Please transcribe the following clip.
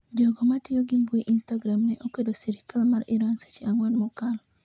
Jogo matiyo gi mbui instagram ne okwedo sirikal mar Iran seche ang'wen mokalo